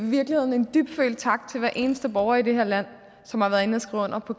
virkeligheden en dybtfølt tak til hver eneste borger i det her land som har været inde og skrive under på